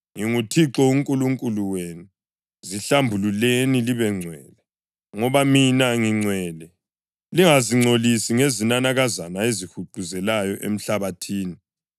NginguThixo uNkulunkulu wenu, zihlambululeni libengcwele, ngoba mina ngingcwele. Lingazingcolisi ngezinanakazana ezihuquzelayo emhlabathini.